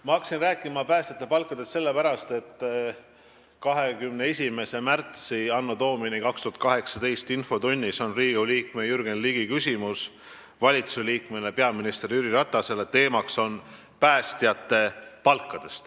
Ma hakkasin rääkima päästjate palkadest sellepärast, et 21. märtsil anno Domini 2018 on infotunnis Riigikogu liikmel Jürgen Ligil küsimus valitsusliikmele, peaminister Jüri Ratasele ja teema on päästjate palgad.